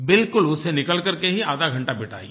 बिलकुल उनसे निकल करके ही आधा घंटा बिताइए